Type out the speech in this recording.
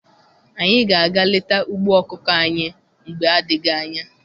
Anyị ga aga leta ugbo ọkụkọ anyị mgbe adịghị anya.